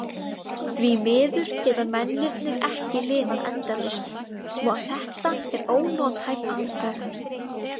Því miður geta mennirnir ekki lifað endalaust svo að þetta er ónothæf aðferð.